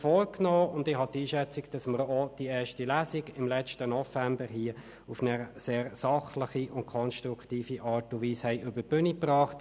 Zudem haben wir meines Erachtens im letzten November auch die erste Lesung im Grossen Rat auf eine sehr sachliche und konstruktive Art und Weise über die Bühne gebracht.